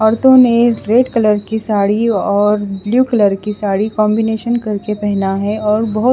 ओरतो ने red colour की साड़ी और ब्लू कलर की साड़ी कॉम्बिनेशन करके पेहना है और बोहोत --